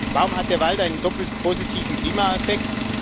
Warum hat der Wald einen doppelt positiven Klimaeffekt?